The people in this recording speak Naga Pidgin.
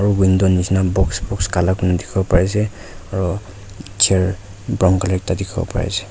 aru window nishina box box kala kurna dikhiwo pari ase aru chair brown colour ekta dikhi bole pari ase.